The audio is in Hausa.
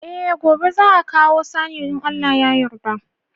Eh gobe za'a kawo saniyar in Allah ya yarda.